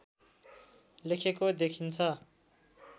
लेखेको देखिन्छ